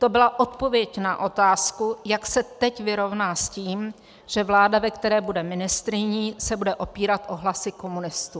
To byla odpověď na otázku, jak se teď vyrovná s tím, že vláda, ve které bude ministryní, se bude opírat o hlasy komunistů.